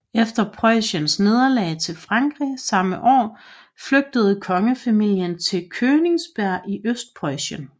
Efter Preussens nederlag til Frankrig samme år flygtede kongefamilien til Königsberg i Østpreussen